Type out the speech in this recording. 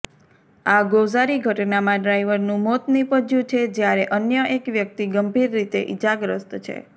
આ ગોઝારી ઘટનામાં ડ્રાઈવરનું મોત નીપજ્યું છે જ્યારે અન્ય એક વ્યક્તિ ગંભીર રીતે ઈજાગ્રસ્ત છે